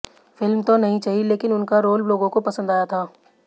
film तो नहीं चली लेकिन उनका रोल लोगों को पसंद आया था